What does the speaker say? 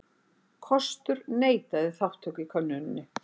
Kostur neitaði þátttöku í könnuninni